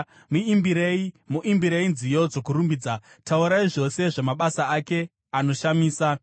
Muimbirei, muimbirei nziyo dzokurumbidza; taurai zvose zvamabasa ake anoshamisa.